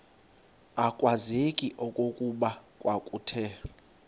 akwazeki okokuba kwakuthe